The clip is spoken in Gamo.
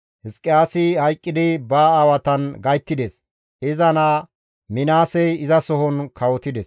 Hizqiyaasi hayqqidi ba aawatan gayttides; iza naa Minaasey izasohon kawotides.